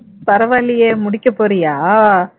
பரவாயில்லையே முடிக்கப்போறியா